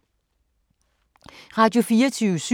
Radio24syv